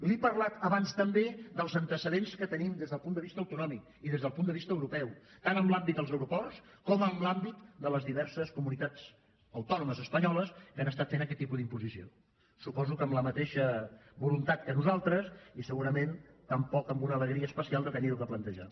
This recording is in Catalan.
li he parlat abans també dels antecedents que tenim des del punt de vista autonòmic i des del punt de vista europeu tant en l’àmbit dels aeroports com en l’àmbit de les diverses comunitats autònomes espanyoles que han estat fent aquest tipus d’imposició suposo que amb la mateixa voluntat que nosaltres i segurament tampoc amb una alegria especial d’haverho de plantejar